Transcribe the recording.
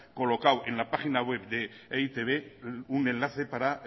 colocado en la página web de e i te be un enlace para